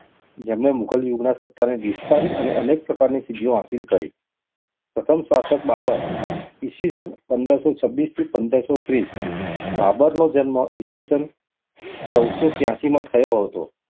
જેમણે મુઘલ યુગની સતાને વિસ્તારી અને અનેક પ્રકારની સિંધીઓ હાસિલ કરી પ્રથમ શાસક બાબર ઈ. સ. પંદરસો છવીસ થી પંદરસો ત્રીસ બાબરનો જન્મ ઈ. સ. ચવુદસો છયાસી થયો હતો.